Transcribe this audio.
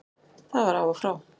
Það var af og frá.